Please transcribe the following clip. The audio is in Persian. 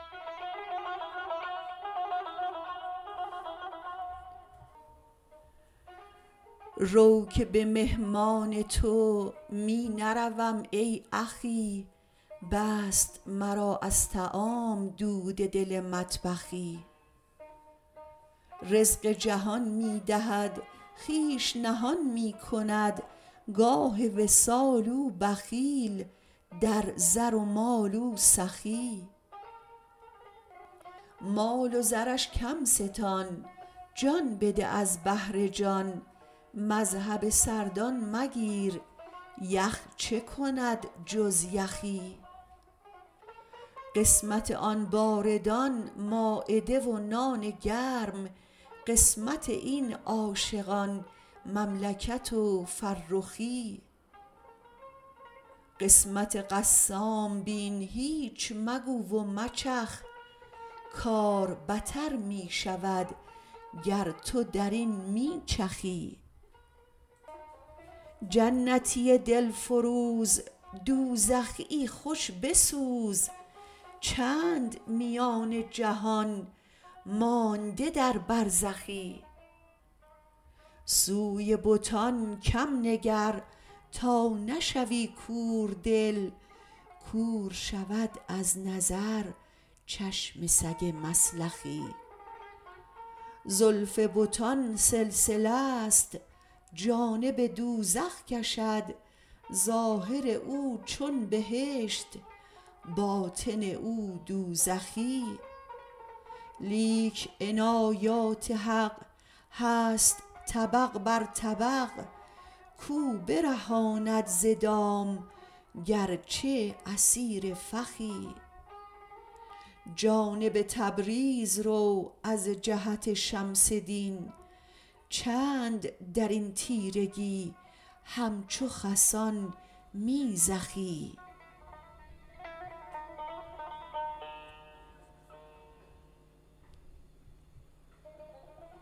رو که به مهمان تو می نروم ای اخی بست مرا از طعام دود دل مطبخی رزق جهان می دهد خویش نهان می کند گاه وصال او بخیل در زر و مال او سخی مال و زرش کم ستان جان بده از بهر جان مذهب سردان مگیر یخ چه کند جز یخی قسمت آن باردان مایده و نان گرم قسمت این عاشقان مملکت و فرخی قسمت قسام بین هیچ مگو و مچخ کار بتر می شود گر تو در این می چخی جنتی دل فروز دوزخیی خوش بسوز چند میان جهان مانده در برزخی سوی بتان کم نگر تا نشوی کوردل کور شود از نظر چشم سگ مسلخی زلف بتان سلسله ست جانب دوزخ کشد ظاهر او چون بهشت باطن او دوزخی لیک عنایات حق هست طبق بر طبق کو برهاند ز دام گرچه اسیر فخی جانب تبریز رو از جهت شمس دین چند در این تیرگی همچو خسان می زخی